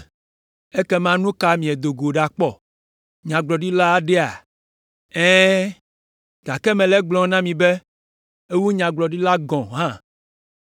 Ekema nu ka miedo go ɖakpɔ? Nyagblɔɖila aɖea? Ɛ̃, gake mele egblɔm na mi be ewu nyagblɔɖila gɔ̃ hã.